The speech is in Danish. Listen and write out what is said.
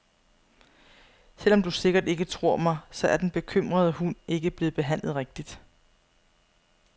Selv om du sikkert ikke tror mig, så er den bekymrede hund ikke blevet behandlet rigtigt.